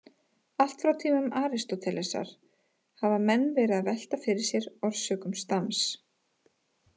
Allt frá tímum Aristótelesar hafa menn verið að velta fyrir sér orsökum stams.